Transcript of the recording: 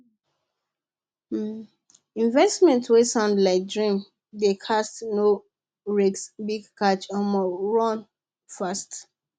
investment wey sound like dream dey cast no risk big cash omo run fast